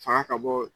Fanga ka bɔ